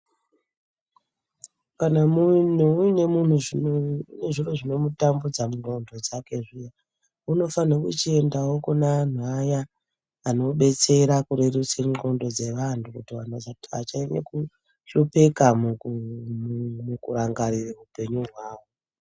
Kana munhu uine zviro zvinomutambudza mundxondo dzake zviya unofane kuchiendawo kune anhu aya anodetsera kurerutse ndxondo dzevanhu kuti vantu vacha vachanyanye kuhlopeka mukuuuu rangarire upenyu hwawo .